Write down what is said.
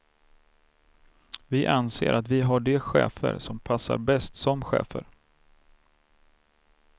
Vi anser att vi har de chefer som passar bäst som chefer.